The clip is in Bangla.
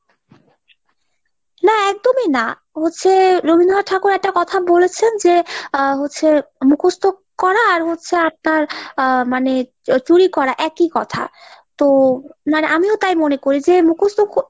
না! একদমি না হচ্ছে Rabindranath Tagore একটা কথা বলেছেন যে আহ হচ্ছে মুখস্ত করা আর হচ্ছে আপনার আহ মানে চুরি করা একি কথা তো আমিও তাই মনে করি যে মুখস্ত।